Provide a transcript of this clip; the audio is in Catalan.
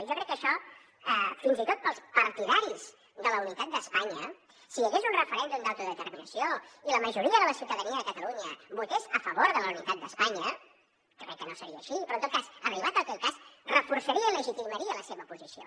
i jo crec que això fins i tot per als partidaris de la unitat d’espanya si hi hagués un referèndum d’autodeterminació i la majoria de la ciutadania de catalunya votés a favor de la unitat d’espanya jo crec que no seria així però en tot cas arribat aquest cas reforçaria i legitimaria la seva posició